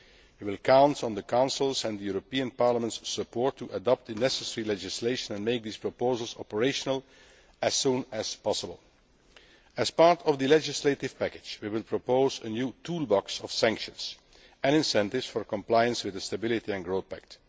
It will count on the Council's and the European Parliament's support to adopt the necessary legislation and make these proposals operational as soon as possible. As part of the legislative package, we will propose a new toolbox of sanctions and incentives for compliance with the Stability and Growth Pact.